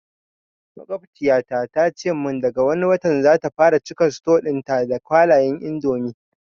Maƙwabciyata ta ce mun daga wani watan zata fara cika suto ɗin ta da kwalayan indomi